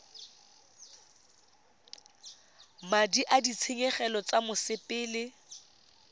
madi a ditshenyegelo tsa mosepele